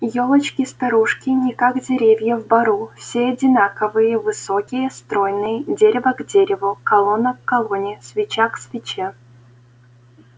ёлочки-старушки не как деревья в бору все одинаковые высокие стройные дерево к дереву колонна к колонне свеча к свече